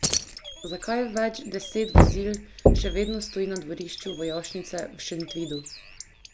Zakaj več deset vozil še vedno stoji na dvorišču vojašnice v Šentvidu?